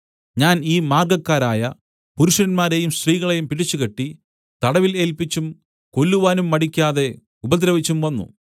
ഞാൻ ഈ മാർഗ്ഗക്കാരായ പുരുഷന്മാരെയും സ്ത്രീകളെയും പിടിച്ചുകെട്ടി തടവിൽ ഏല്പിച്ചും കൊല്ലുവാനും മടിക്കാതെ ഉപദ്രവിച്ചും വന്നു